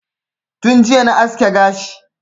Tun jiya na aske gashi